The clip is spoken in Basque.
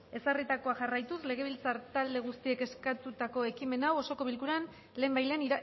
ezarritakoa jarraituz legebiltzar talde guztiek eskatutako ekimen hau osoko bilkuran lehenbailehen